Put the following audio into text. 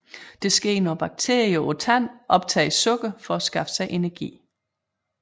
Det sker når bakterierne på tanden optager sukker for at skaffe sig energi